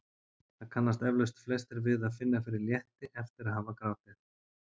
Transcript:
Það kannast eflaust flestir við að finna fyrir létti eftir að hafa grátið.